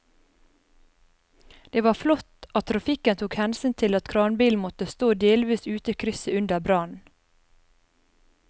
Det var flott at trafikken tok hensyn til at kranbilen måtte stå delvis ute i krysset under brannen.